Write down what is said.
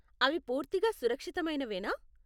అవి పూర్తిగా సురక్షితమైనవేనా?